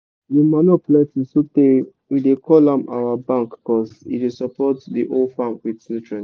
di manure plenty sotey we dey call am our bank cuz e dey support di whole farm with nutrients